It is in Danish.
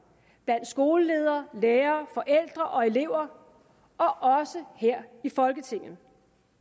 blandt skoleledere lærere forældre og elever og også her i folketinget